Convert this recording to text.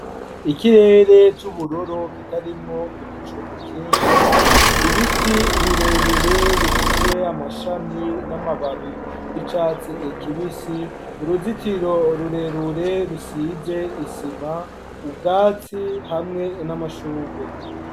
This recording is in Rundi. Ikirere c'ubururu kitarimo ibicu vyinshi, ibiti birebire bifise amashami n'amababi y'icatsi kibisi uruzitiro rurerure rusize isima ubwatsi hamwe n'amashugwe.